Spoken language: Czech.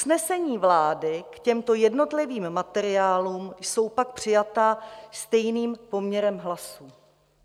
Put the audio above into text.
Usnesení vlády k těmto jednotlivým materiálům jsou pak přijata stejným poměrem hlasů.